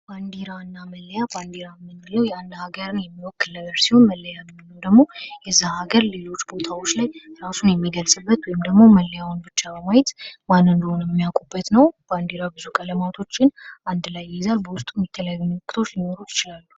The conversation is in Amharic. ባንዲራ እና መለያ ባንዲራ ምንለው የአንድ ሀገርን የሚወክል ነገር ሲሆን፤ መለያ የምንለው ደግሞ እዚህ አገር ሌሎች ቦታዎች ላይ ራሱን የሚገልጽበት ወይም ደግሞ መለያውን ብቻ በማየት ማን እንደሆነ የሚያውቁበት ነው። ባንዲራ ብዙ ቀለሞቶችን አንድ ላይ ይይዛል በውስጡም የተለያዩ ምልክቶች ሊኖሩት ይችላሉ።